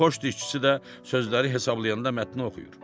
Poçt işçisi də sözləri hesablayanda mətni oxuyur.